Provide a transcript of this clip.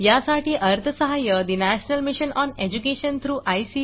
यासाठी अर्थसहाय्य mission on education through I